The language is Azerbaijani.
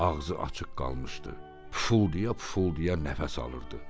Ağzı açıq qalmışdı, fuldaya-fuldaya nəfəs alırdı.